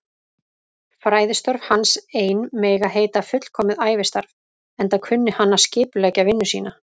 Fræðistörf hans ein mega heita fullkomið ævistarf, enda kunni hann að skipuleggja vinnu sína.